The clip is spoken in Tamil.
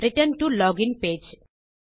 return to login page